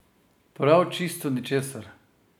Prav čisto ničesar?